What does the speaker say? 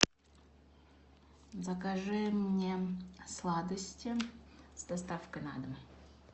закажи мне сладости с доставкой на дом